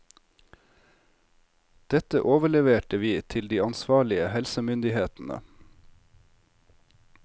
Dette overleverte vi til de ansvarlige helsemyndighetene.